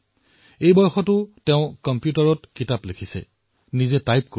তেওঁ এই বয়সতো কম্পিউটাৰত নিজৰ কিতাপ লিখি আছে নিজে টাইপ কৰি